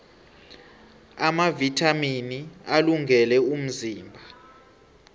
amavithamini alungele umzimba